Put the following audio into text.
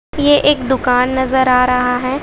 ये एक दुकान नजर आ रहा हैं।